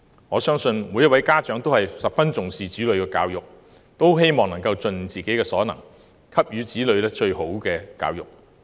我相信每位家長也十分重視子女教育，希望能夠盡自己所能，給予子女最好的教育。